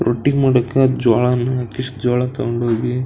ರೊಟ್ಟಿ ಮಾಡಾಕ್ಕ ಜೋಳನ ಕಿಶ್ ಜೋಳ ತಕೊಂಡೋಗಿ --